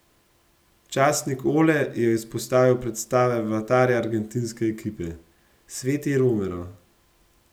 Časnik Ole je izpostavil predstave vratarja argentinske ekipe: "Sveti Romero.